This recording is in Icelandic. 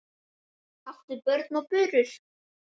áttu börn og burur